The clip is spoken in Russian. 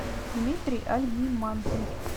дмитрий альгимантович